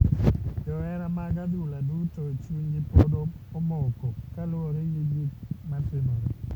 Johera mag adhula duto chunygi pod omoko kaluwore gi gik matimore.